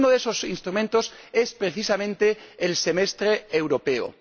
Porque uno de esos instrumentos es, precisamente, el Semestre Europeo.